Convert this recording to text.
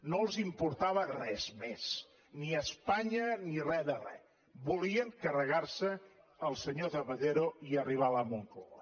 no els importava res més ni espanya ni re de re volien carregar se el senyor zapatero i arribar a la moncloa